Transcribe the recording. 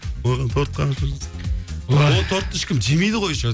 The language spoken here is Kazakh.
ол тортты ешкім жемейді ғой еще